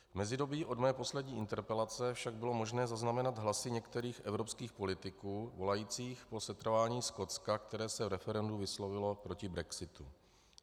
V mezidobí od mé poslední interpelace však bylo možné zaznamenat hlasy některých evropských politiků volajících po setrvání Skotska, které se v referendu vyslovilo proti brexitu.